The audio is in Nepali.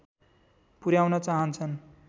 पुर्‍याउन चाहन्छन्